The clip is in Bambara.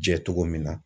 Jɛ cogo min na